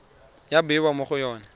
ya bewa mo go yone